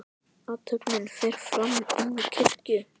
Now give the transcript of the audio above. Athöfnin fer fram inni í kirkju.